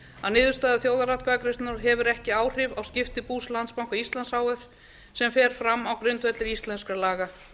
að niðurstaða þjóðaratkvæðagreiðslunnar hefur ekki áhrif á skipti bús landsbanka íslands h f sem fer fram á grundvelli íslenskra laga